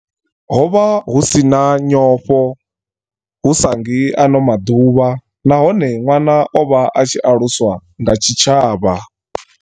Ho vha hu si na nyofho, hu sa ngi ano maḓuvha, nahone ṅwana o vha a tshi aluswa nga tshi tshavha.